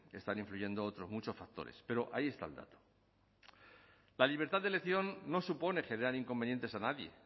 que están influyendo otros muchos factores pero ahí está el dato la libertad de elección no supone generar inconvenientes a nadie